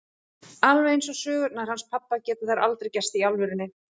Alveg eins og sögurnar hans pabba geta þær aldrei gerst í alvörunni.